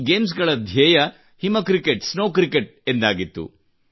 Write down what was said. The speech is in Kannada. ಈ ಗೇಮ್ಸ್ ಗಳ ಧ್ಯೇಯ ಹಿಮ ಕ್ರಿಕೆಟ್ ಸ್ನೋವ್ ಕ್ರಿಕೆಟ್ ಎಂದಾಗಿತ್ತು